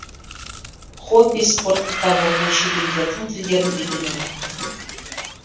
хоббиі спорт кітап оқу шет елдердің тілдерін үйрену